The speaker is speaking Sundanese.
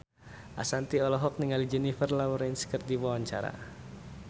Ashanti olohok ningali Jennifer Lawrence keur diwawancara